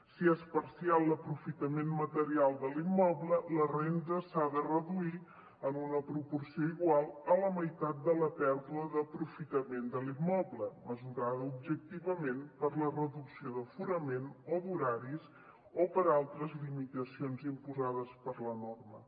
si és parcial l’aprofitament material de l’immoble la renda s’ha de reduir en una proporció igual a la meitat de la pèrdua d’aprofitament de l’immoble mesurada objectivament per la reducció d’aforament o d’horaris o per altres limitacions imposades per la norma